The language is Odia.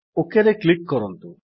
ଓକ୍ ରେ କ୍ଲିକ୍ କରନ୍ତୁ